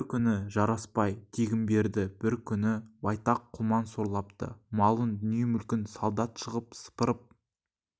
бір күні жарасбай тегінберді бір күні байтақ құлман сорлапты малын дүние-мүлкін солдат шығып сыпырып